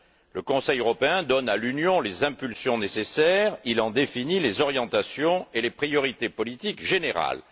Le Conseil européen donne à l'Union les impulsions nécessaires, il en définit les orientations et les priorités politiques générales.